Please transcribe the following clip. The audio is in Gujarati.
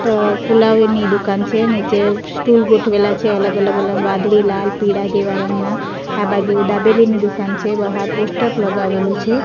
ટ ફુલાવી ની દુકાન છે નીચે સ્ટુલ ગોઠવેલા છે અલગ અલગ અલગ વાદળી લાલ પીળા જેવા રંગના આ બાજુ દાબેલીની દુકાન છે બહાર પોસ્ટર લગાવેલું છે.